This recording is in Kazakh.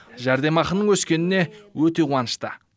жәрдемақының өскеніне өте қуанышты